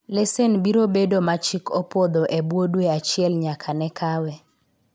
lesen biro bedo ma chik opwodho ebwo dwe achiel nyaka ne kawe